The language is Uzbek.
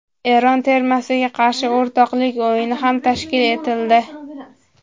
Eron termasiga qarshi o‘rtoqlik o‘yini ham tashkil etildi.